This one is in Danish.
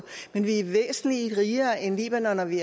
men vi er væsentlig rigere end libanon og vi